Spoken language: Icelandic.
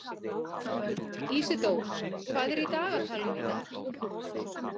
Ísidór, hvað er í dagatalinu í dag?